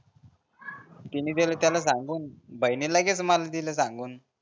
तिने दिले त्याला सांगून भाईने लगेच मला दिले सांगून